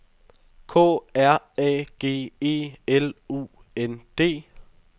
K R A G E L U N D